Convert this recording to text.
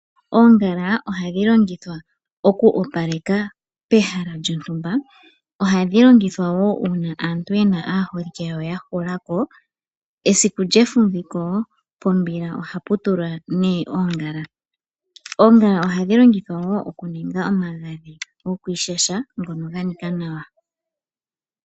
Oongala ohadhi longithwa oku opaleka pehala lyontumba, ohadhi longithwa wo uuna aantu ye na aaholike yawo ya hula ko. Esiku lyefumviko pombila ohapu tulwa nee oongala. Oongala ohadhi longithwa wo oku ninga omagadhi gokwiishasha ngono ga nika nawa.